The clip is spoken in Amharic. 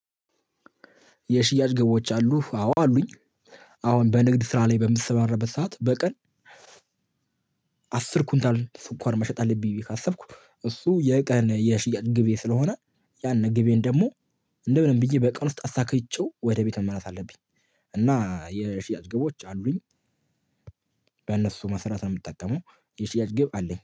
የሽያጭ ግቦች አሉህ? አዎ አሉኝ። አሁን በንግድ ስራ ላይ በምሰማራበት ሰዓት በቀን አስር ኩንታል ስኳር መሸጥ አለብኝ ብዬ ካሰብኩ እሱ የቀን የሽያጭ ግቤ ስለሆነ ያንን ግቤን ደግሞ እንደምን ብዬ በቀን ውስጥ አሳክቼው ወደ ቤት መመለስ አለብኝ። እና የሽያጭ ግቦች አሉኝ። በእነሱ መስራት ነው የምጠቀመው የሽያጭ ግብ አለኝ